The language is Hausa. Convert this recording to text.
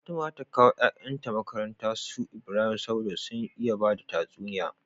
Fatima zata kawo yayan ta makarantar su Ibrahim saboda sun iya bada tatsuniya